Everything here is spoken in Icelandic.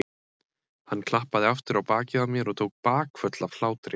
Hann klappaði aftur á bakið á mér og tók bakföll af hlátri.